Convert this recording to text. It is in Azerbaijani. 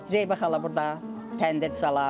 Zeybə xala burda təndir salardı.